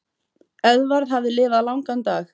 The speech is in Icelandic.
Eðvarð hafði lifað langan dag.